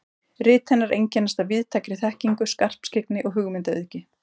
Rit hennar einkennast af víðtækri þekkingu, skarpskyggni og hugmyndaauðgi.